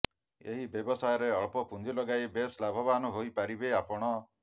ଏହି ବ୍ୟବସାୟରେ ଅଳ୍ପ ପୁଞ୍ଜି ଲଗାଇ ବେଶ ଲାଭବାନ ହୋଇ ପାରିବେ ଆପଣ